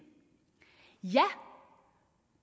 ja og